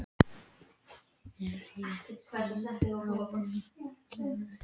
Er því þá vel varið ef vinátta kemur í mót.